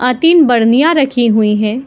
और तीन बर्निया रखी हुईं है।